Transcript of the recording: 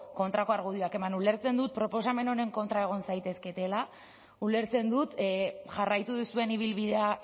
kontrako argudioak eman ulertzen dut proposamen honen kontra egon zaitezketela ulertzen dut jarraitu duzuen ibilbidea